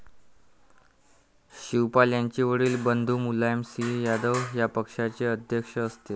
शिवपाल यांचे वडील बंधू मुलायम सिंह यादव या पक्षाचे अध्यक्ष असतील.